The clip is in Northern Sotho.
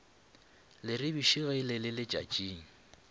leribiši ge le le letšatšing